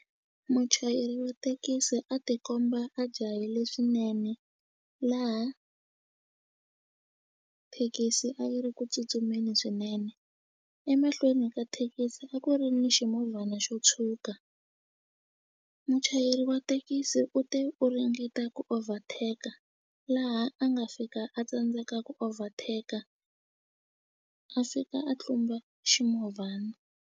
Muchayeri wa thekisi a tikomba a jahile swinene laha thekisi a yi ri ku tsutsumeni swinene emahlweni ka thekisi a ku ri ni ximovhana xo tshuka muchayeri wa thekisi u te u ringeta ku overtake-a laha a nga fika a tsandzeka ku overtake-a a fika a tlumba ximovhana.